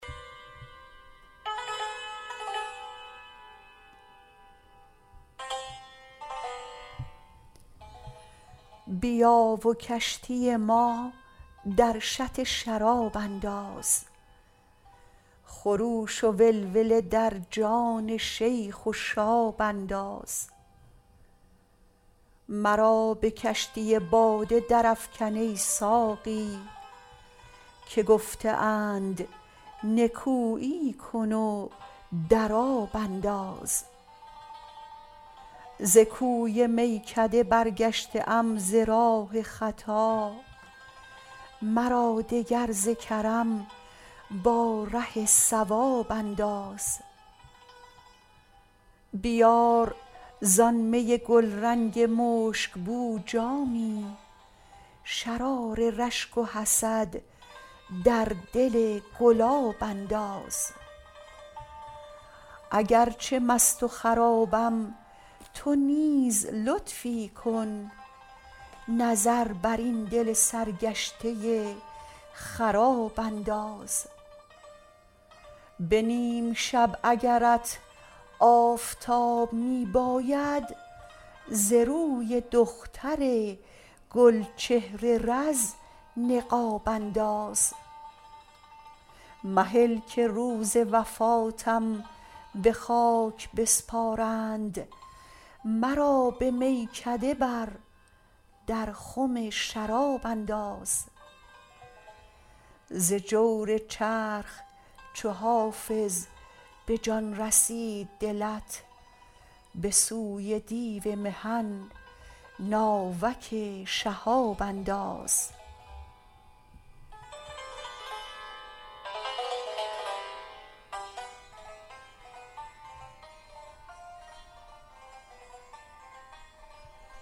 بیا و کشتی ما در شط شراب انداز خروش و ولوله در جان شیخ و شاب انداز مرا به کشتی باده درافکن ای ساقی که گفته اند نکویی کن و در آب انداز ز کوی میکده برگشته ام ز راه خطا مرا دگر ز کرم با ره صواب انداز بیار زآن می گلرنگ مشک بو جامی شرار رشک و حسد در دل گلاب انداز اگر چه مست و خرابم تو نیز لطفی کن نظر بر این دل سرگشته خراب انداز به نیم شب اگرت آفتاب می باید ز روی دختر گل چهر رز نقاب انداز مهل که روز وفاتم به خاک بسپارند مرا به میکده بر در خم شراب انداز ز جور چرخ چو حافظ به جان رسید دلت به سوی دیو محن ناوک شهاب انداز